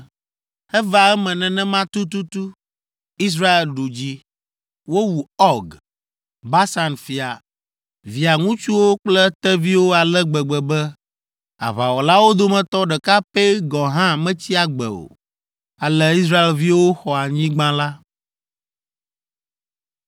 Eva eme nenema tututu. Israel ɖu dzi. Wowu Ɔg, Basan fia, via ŋutsuwo kple eteviwo ale gbegbe be aʋawɔlawo dometɔ ɖeka pɛ gɔ̃ hã metsi agbe o. Ale Israelviwo xɔ anyigba la.